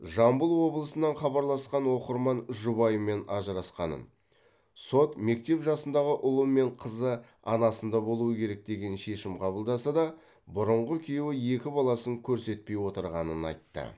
жамбыл облысынан хабарласқан оқырман жұбайымен ажырасқанын сот мектеп жасындағы ұлы мен қызы анасында болуы керек деген шешім қабылдаса да бұрынғы күйеуі екі баласын көрсетпей отырғанын айтты